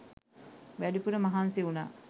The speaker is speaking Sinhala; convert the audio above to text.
වැඩිපුර මහන්සි වුණා.